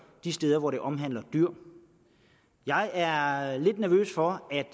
de steder hvor det omhandler dyr jeg er er lidt nervøs for at